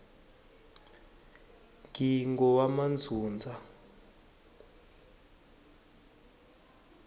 ngingowamandzundza